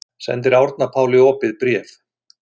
Sendir Árna Páli opið bréf